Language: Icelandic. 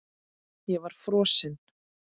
Ég var frosin.